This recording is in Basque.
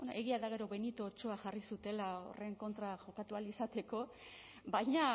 egia da gero benito otsoa jarri zutela horren kontra jokatu ahal izateko baina